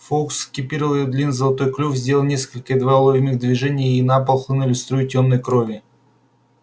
фоукс спикировал его длинный золотой клюв сделал несколько едва уловимых движений и на пол хлынули струи тёмной крови